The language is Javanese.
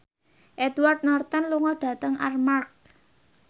Edward Norton lunga dhateng Armargh